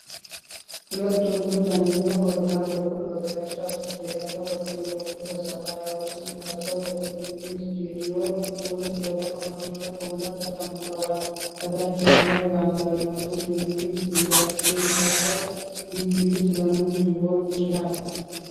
ሁለት ወንዶች፣ አንደኛው በግራ በኩል በግራጫ ሱፍ፣ ሌላኛው በቀኝ በኩል በሰማያዊ ሱፍ ለብሰው በቴሌቪዥን ስቱዲዮ ውስጥ በተቀመጡበት ወንበር ተቀምጠዋል። ከታች ያለው የአማርኛ ፅሁፍ የሚል ጥያቄ ሲያቀርብ፣ ውይይቱ ስለ ምን ሊሆን ይችላል?